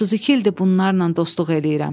“32 ildir bunlarla dostluq eləyirəm.